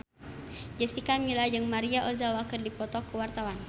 Jessica Milla jeung Maria Ozawa keur dipoto ku wartawan